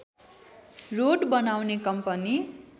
road बनाउने company